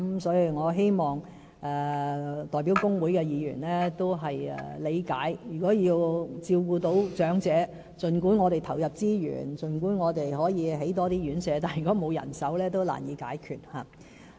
所以，我希望代表工會的議員理解，儘管我們投入資源，興建更多院舍，但如果缺乏人手照顧長者，問題也是難以解決的。